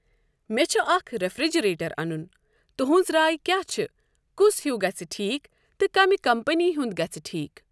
مےٚ چھ اَکھ رٮ۪فرِجریٹَر انن۔ تہٕنٛز راے کیاہ چھ؟ کس ہیوُو گژھہ ٹھیٖک تہٕ کمہِ کَمپٔنی ہنٛد گژھہ ٹھیٖک۔